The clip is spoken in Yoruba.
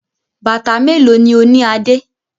Bàtà mélòó ni ó ní Adé?